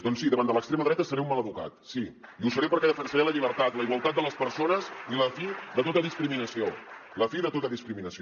doncs sí davant de l’extrema dreta seré un mal educat sí i ho seré perquè defensaré la llibertat la igualtat de les persones i la fi de tota discriminació la fi de tota discriminació